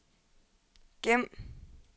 gem